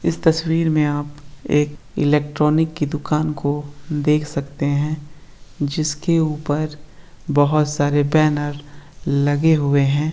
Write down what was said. इस तस्वीर में आप एक इलेक्ट्रॉनिक की दुकान को देख सकते है जिसके ऊपर बहोत सारे बैनर लगे हुए है।